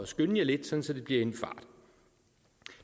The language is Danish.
skynde jer lidt så det bliver i en fart